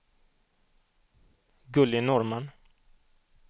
Gulli Norrman